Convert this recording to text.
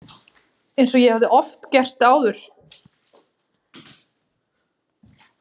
Eins og ég hafði oft gert áður.